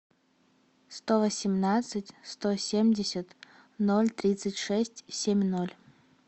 сто восемнадцать сто семьдесят ноль тридцать шесть семь ноль